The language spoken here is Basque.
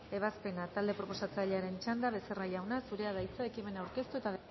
ebazpena talde proposatzailaren txanda becerra jauna zurea da hitza ekimena aurkeztu eta